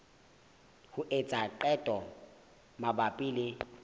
ho etsa qeto mabapi le